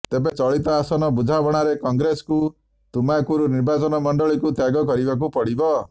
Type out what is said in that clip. ତେବେ ଚଳିତ ଆସନ ବୁଝାମଣାରେ କଂଗ୍ରେସକୁ ତୁମାକୁରୁ ନିର୍ବାଚନ ମଣ୍ଡଳୀକୁ ତ୍ୟାଗ କରିବାକୁ ପଡ଼ିବ